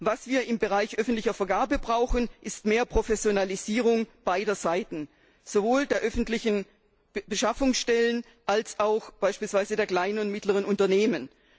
Was wir im Bereich öffentlicher Vergabe brauchen, ist mehr Professionalisierung beider Seiten, sowohl der öffentlichen Beschaffungsstellen als auch beispielsweise der kleinen und mittleren Unternehmen.